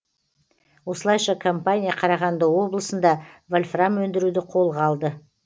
осылайша компания қарағанды облысында вольфрам өндіруді қолға алды